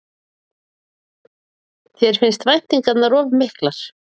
Þér finnst væntingarnar of miklar?